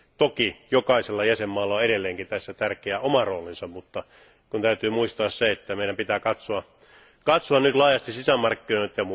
Toki jokaisella jäsenvaltiolla on edelleenkin tässä tärkeä oma roolinsa, mutta täytyy muistaa se, että meidän pitää katsoa nyt laajasti sisämarkkinoita.